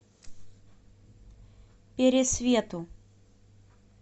пересвету